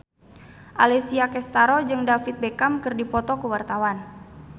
Alessia Cestaro jeung David Beckham keur dipoto ku wartawan